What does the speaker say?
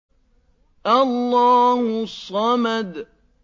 اللَّهُ الصَّمَدُ